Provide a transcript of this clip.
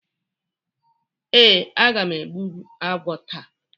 Ee, aga m egbbu agwo taa.